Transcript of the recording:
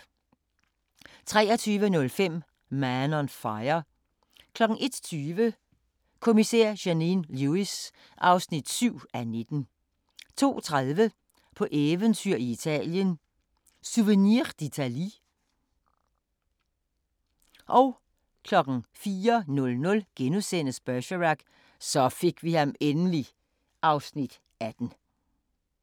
23:05: Man on Fire 01:20: Kommissær Janine Lewis (7:19) 02:30: På eventyr i Italien – Souvenir d'Italie 04:00: Bergerac: Så fik vi ham endelig (Afs. 18)*